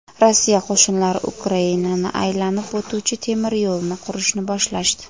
Rossiya qo‘shinlari Ukrainani aylanib o‘tuvchi temiryo‘lni qurishni boshlashdi.